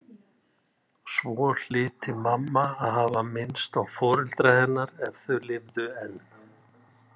Svo hlyti mamma að hafa minnst á foreldra hennar ef þau lifðu enn.